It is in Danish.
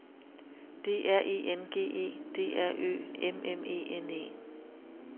D R E N G E D R Ø M M E N E